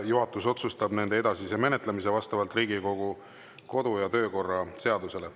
Juhatus otsustab nende edasise menetlemise vastavalt Riigikogu kodu- ja töökorra seadusele.